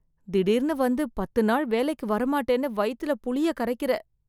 திடிர்னு வந்து பத்து நாள் வேலைக்கு வர மாட்டேன்னு வயித்துல புளிய கரைக்குற.